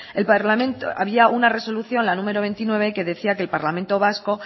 había una resolución la número veintinueve que decía que el parlamento vasco